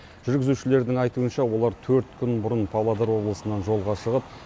жүргізушілердің айтуынша олар төрт күн бұрын павлодар облысынан жолға шығып